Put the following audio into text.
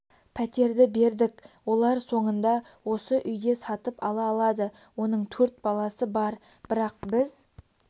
пәтерді бердік олар соңында осы үйде сатып ала алады оның төрт баласы бар бірақ біз